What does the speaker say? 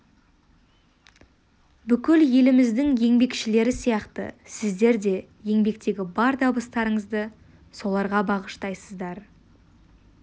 бүкіл еліміздің еңбекшілері сияқты сіздер де еңбектегі бар табыстарыңызды соларға бағыштайсыздар